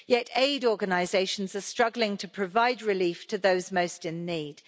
Yet aid organisations are struggling to provide relief to those most in need.